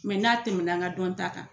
n'a tɛmɛna an ka dɔnta kan